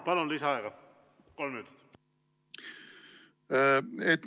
Palun, lisaaega kolm minutit.